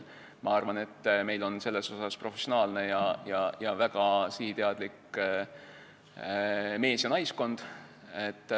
Ma arvan, et meil on selleks professionaalne ja väga sihiteadlik mees- ja naiskond.